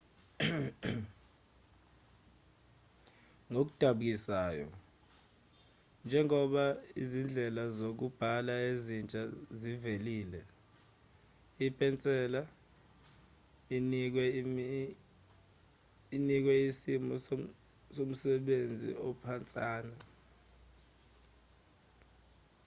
ngokudabukisayo njengoba izindlela zokubhala ezintsha zivelile ipenseli inikwe isimo nomsebenzi ophansana